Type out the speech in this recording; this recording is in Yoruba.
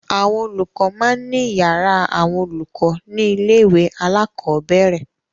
Àwọn olùkọ́ máa ń ní ìyàrá àwọn olùkọ́ ní ilé-ìwé alákọ̀ọ́bẹ̀rẹ̀.